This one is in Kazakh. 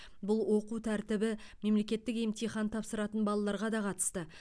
бұл оқу тәртібі мемлекеттік емтихан тапсыратын балаларға да қатысты